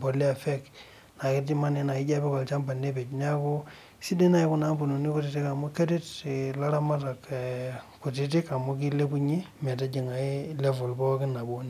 polea fake naa ejio apik olchamba nepej neeku aisidai naaji Kuna ambunini kutiti amu keret ilaramatak kutiti amu kilepunye metijinga pookin level nabo